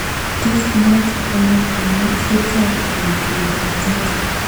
Tos kinyaita ono koimutietab kutietab Zika?